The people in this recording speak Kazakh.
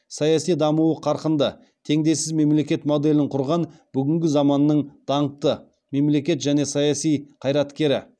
саяси дамуы қарқынды теңдесіз мемлекет моделін құрған бүгінгі заманның даңқты мемлекет және саяси қайраткері